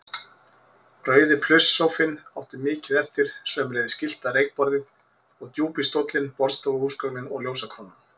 Rauði plusssófinn átti mikið eftir, sömuleiðis gyllta reykborðið og djúpi stóllinn, borðstofuhúsgögnin og ljósakrónan.